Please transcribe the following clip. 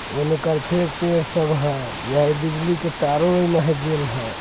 --ओने कोर फेर सब पेड़ है यह बिजली के तारों लगल है।